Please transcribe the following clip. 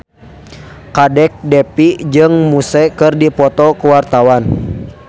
Kadek Devi jeung Muse keur dipoto ku wartawan